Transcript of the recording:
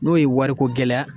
N'o ye wariko gɛlɛya